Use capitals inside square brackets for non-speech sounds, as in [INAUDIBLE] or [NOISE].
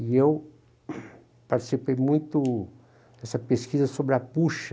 E eu [COUGHS] participei muito dessa pesquisa sobre a bocha.